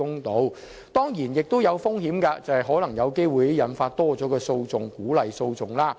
可是，這當然亦有風險，就是有機會引發更多訴訟，鼓勵訴訟。